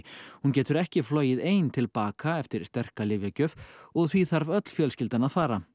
hún getur ekki flogið ein til baka eftir sterka lyfjagjöf og því þarf öll fjölskyldan að fara